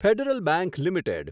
federal bank limited